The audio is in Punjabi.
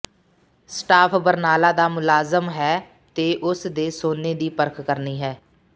ਸਟਾਫ਼ ਬਰਨਾਲਾ ਦਾ ਮੁਲਾਜਮ ਹੈ ਤੇ ਉਸ ਦੇ ਸੋਨੇ ਦੀ ਪਰਖ ਕਰਨੀ ਹੈ